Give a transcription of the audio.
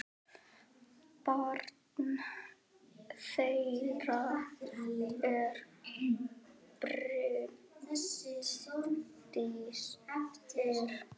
Barn þeirra er Bryndís Ýr.